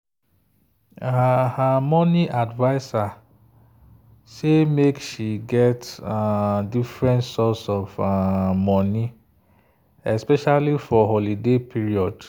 her her money adviser say make she get um different source of um money especially for holiday period.